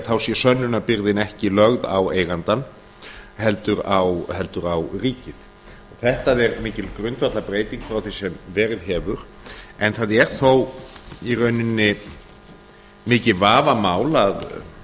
þá sé sönnunarbyrðin ekki lögð á eigandann heldur á ríkið þetta er mikil grundvallarbreyting frá því sem verið hefur en það er þó í rauninni mikið vafamál að